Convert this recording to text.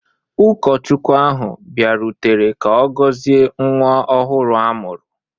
Ụkọchukwu ahụ bịarutere ka ọ gọzie nwa ọhụrụ a mụrụ.